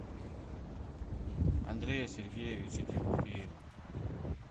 андрея сергеевича тимофеева